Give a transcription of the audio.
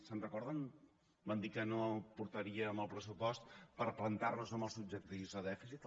se’n recorden van dir que no portarien el pressupost per plantar nos amb els objectius de dèficit